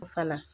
Fana